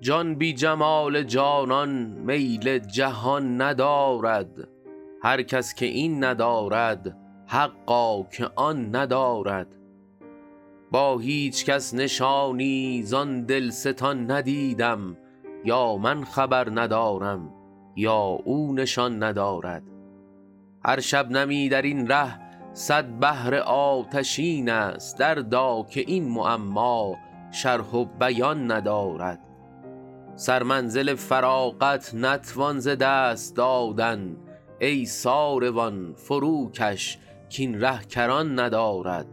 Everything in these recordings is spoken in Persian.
جان بی جمال جانان میل جهان ندارد هر کس که این ندارد حقا که آن ندارد با هیچ کس نشانی زان دلستان ندیدم یا من خبر ندارم یا او نشان ندارد هر شبنمی در این ره صد بحر آتشین است دردا که این معما شرح و بیان ندارد سرمنزل فراغت نتوان ز دست دادن ای ساروان فروکش کاین ره کران ندارد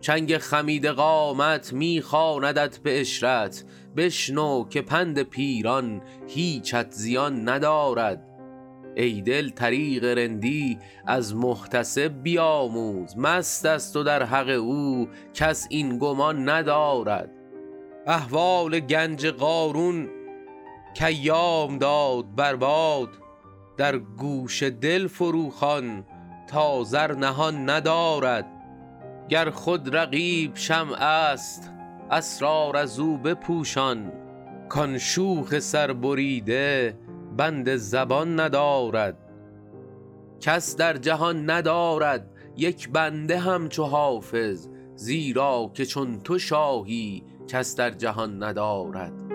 چنگ خمیده قامت می خواندت به عشرت بشنو که پند پیران هیچت زیان ندارد ای دل طریق رندی از محتسب بیاموز مست است و در حق او کس این گمان ندارد احوال گنج قارون کایام داد بر باد در گوش دل فروخوان تا زر نهان ندارد گر خود رقیب شمع است اسرار از او بپوشان کان شوخ سربریده بند زبان ندارد کس در جهان ندارد یک بنده همچو حافظ زیرا که چون تو شاهی کس در جهان ندارد